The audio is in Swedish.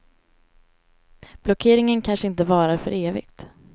Blockeringen kanske inte varar för evigt.